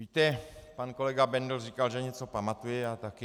Víte, pane kolega Bendl říkal, že něco pamatuje, já taky.